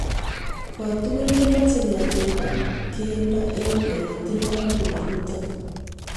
Kotugul kemoche ketilda kelyek eng' ole tinye mionitok